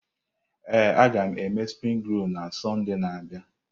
Ee, agam eme springi rol na Sọnde na-abịa.